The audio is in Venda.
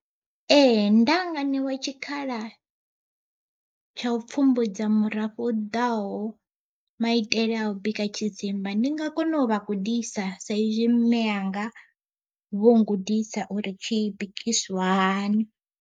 Ee ndanga ṋewa tshikhala tsha u pfhumbudza murafho u ḓaho, maitele a u bika tshidzimba ndi nga kona u vha gudisa sa izwi mmenga vho gudisa uri tshi bikisiwa hani.